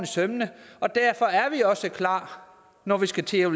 sømmene og derfor er vi også klar når vi skal til at